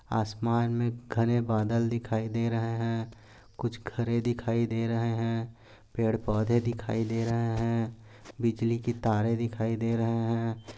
आसमान मे घने बादल दिखाई दे रहे है। कुछ घरे दिखाई दे रहे है। पेड पौधे दिखाई दे रहे है। बिजली कि तारे दिखाई दे रहे है।